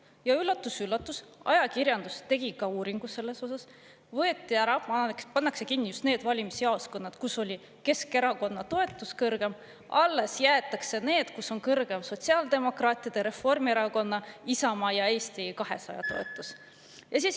Ja üllatus-üllatus, ajakirjandus tegi ka uuringu selles osas: pannakse kinni just need valimisjaoskonnad, kus on Keskerakonna toetus kõrgem olnud, ja alles jäetakse need, kus on kõrgem olnud sotsiaaldemokraatide, Reformierakonna, Isamaa ja Eesti 200 toetus.